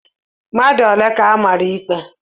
Mmadụ ole ka amara ikpe?